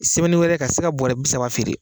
wɛrɛ ka se ka bɔrɛ bi saba feere